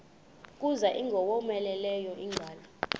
kuza ingowomeleleyo ingalo